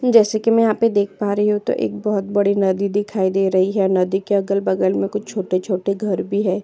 जैसे कि मैं यहां पे देख पा रही हूं तो एक बहुत बड़ी नदी दिखाई दे रही है नदी के अगल-बगल में कुछ छोटे-छोटे घर भी है।